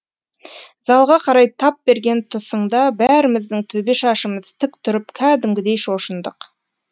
залға қарай тап берген тұсыңда бәріміздің төбе шашымыз тік тұрып кәдімгідей шошындық